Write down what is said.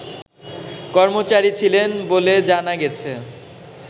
কর্মচারী ছিলেন বলে জানা গেছে